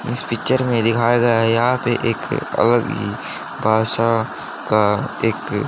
इस पिक्चर में दिखाया गया है यहां पे एक अलग ही भाषा का एक--